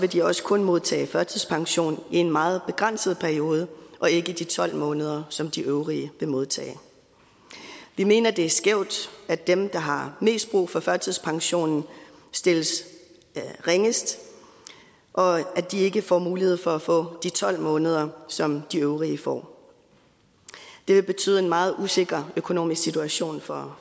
de også kun modtage førtidspension i en meget begrænset periode og ikke de tolv måneder som de øvrige vil modtage vi mener det er skævt at dem der har mest brug for førtidspensionen stilles ringest og at de ikke får mulighed for at få de tolv måneder som de øvrige får det vil betyde en meget usikker økonomisk situation for